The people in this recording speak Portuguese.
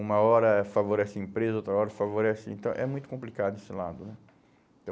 Uma hora favorece a empresa, outra hora favorece... Então, é muito complicado esse lado, né?